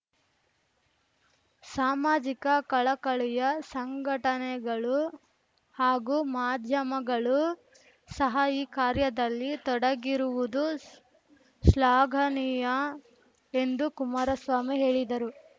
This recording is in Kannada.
ಸಾಮಾಜಿಕ ಕಳಕಳಿಯ ಸಂಘಟನೆಗಳು ಹಾಗೂ ಮಾಧ್ಯಮಗಳು ಸಹ ಈ ಕಾರ್ಯದಲ್ಲಿ ತೊಡಗಿರುವುದು ಶ್ಲಾಘನೀಯ ಎಂದು ಕುಮಾರಸ್ವಾಮಿ ಹೇಳಿದರು